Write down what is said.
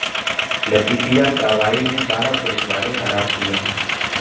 لطیفیہ کارروائی میں بارہ پولیس والے ہلاک ہوئے ہیں